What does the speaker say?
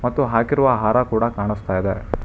ಮತ್ತು ಹಾಕಿರುವ ಹಾರ ಕೂಡ ಕಾಣಿಸ್ತಾ ಇದೆ.